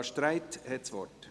Barbara Streit hat das Wort.